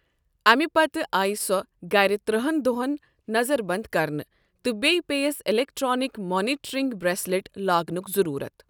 اَمہِ پتہٕ آیہِ سۄ گر ترہَن ہن دۄہن نظر بنٛد کرنہٕ تہٕ بییہ پیفیس ایٚلیٚکٹرٛانِک مانِٹرٛنِگ برٛیٚسلیٚٹ لاگنک ضروُرت۔